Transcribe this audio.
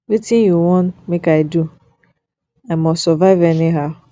wetin you want make i do i must survive anyhow